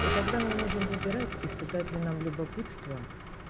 и тогда мы можем выбирать испытать ли нам любопытство